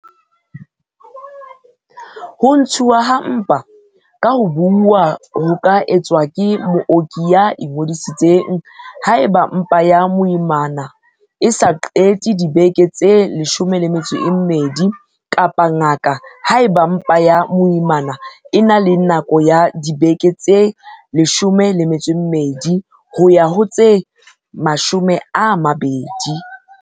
Ho ntshuwa ha mpa ka ho buuwa ho ka etswa ke mooki ya ingodisitseng, haeba mpa ya moimana e so qete dibeke tse 12, kapa ngaka, haeba mpa ya moimana e na le nako ya dibeke tse 12 ho ya ho tse 20.